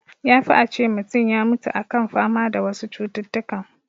Ya fi a ce mutun ya mutu a kan fama da wasu cututtukan